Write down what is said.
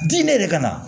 Di ne yɛrɛ ka na